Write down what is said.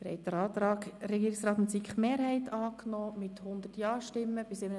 Der Rat hat dem Antrag Regierungsrat/SiKMehrheit den Vorzug gegeben.